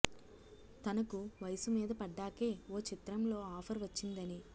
తనకు వయసు మీద పడ్డాకే ఓ చిత్రంలో ఆఫర్ వచ్చిందని